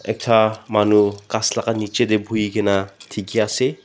ekta manu kas laka niji de buihi kina diki ase.